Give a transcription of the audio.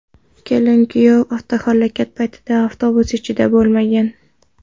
Kelin va kuyov avtohalokat paytida avtobus ichida bo‘lmagan.